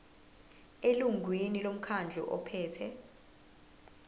elungwini lomkhandlu ophethe